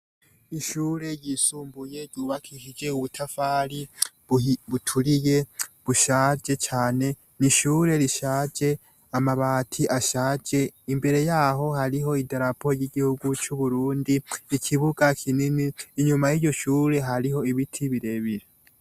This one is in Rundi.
Ishure ryisumbuye ryubakishije ubutafari buturiye bushaje cane , n’ishure rishaje amabati ashaje, imbere yaho hariho idarapo y’igihugu c’Uburundi ikibuga kinini, inyuma yiryo shure hariho ibiti birebire.